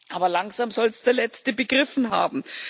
Aber langsam sollte es der Letzte begriffen haben.